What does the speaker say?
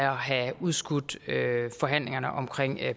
have udskudt forhandlingerne om